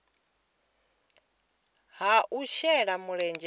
ha u shela mulenzhe kha